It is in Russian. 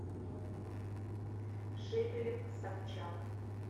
шепелев собчак